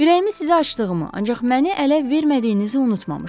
Ürəyimi sizə açdığımı, ancaq məni ələ vermədiyinizi unutmamışam.